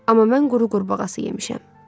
Amma mən quru qurbağası yemişəm.